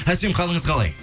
әсем қалыңыз қалай